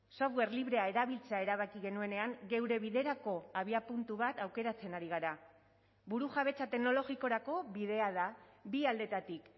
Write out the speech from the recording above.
software librea erabiltzea erabaki genuenean geure biderako abiapuntu bat aukeratzen ari gara burujabetza teknologikorako bidea da bi aldetatik